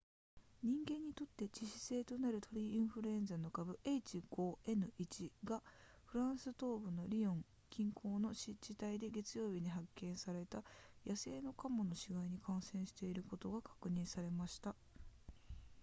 人間にとって致死性となる鳥インフルエンザの株 h5n1 がフランス東部のリヨン近郊の湿地帯で月曜日に発見された野生のカモの死骸に感染していることが確認されました